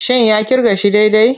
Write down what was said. Shin ya kirga shi daidai?